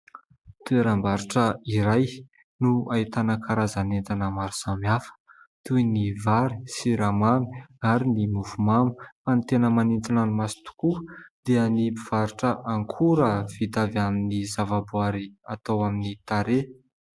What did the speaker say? Toeram-barotra iray no ahitana karazan' entana maro samihafa toy : ny vary siramamy ary ny mofomamy. Fa ny tena manintona ny maso tokoa dia ny mpivarotra akora vita avy amin'ny zavaboary atao amin'ny tarehy.